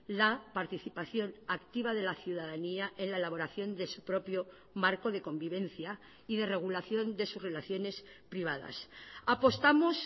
la participación activa de la ciudadanía en la elaboración de su propio marco de convivencia y de regulación de sus relaciones privadas apostamos